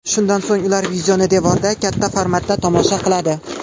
Shundan so‘ng ular videoni devorda katta formatda tomosha qiladi.